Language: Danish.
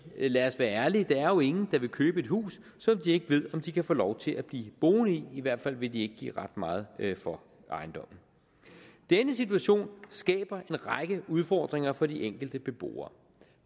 lad os være ærlige der er jo ingen der vil købe et hus som de ikke ved om de kan få lov til at blive boende i i hvert fald vil de ikke give ret meget for ejendommen denne situation skaber en række udfordringer for de enkelte beboere